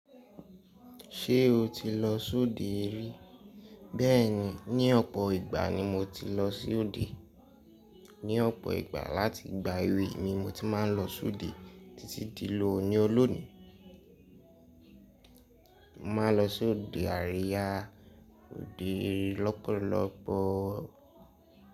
Ṣé o ti lọ sóde ri? Bẹ́ẹ̀ni, ní ọ̀pọ̀ ìgbà ni mo ti lọ sóde. Ní ọ̀pọ̀ ìgbà láti ìgbà èwe ni mo ti máa ń lọ sóde títí di lóòní. Looni- Mo máa ń lọ sóde àríyá, òde lọ́pọ̀lọpọ̀.